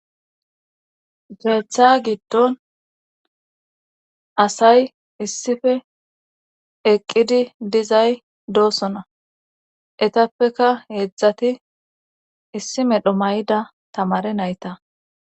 Keetha giddon asay issife eqqidi dizay doosona etappeka heedzdzati issi medho mayda tamare nayta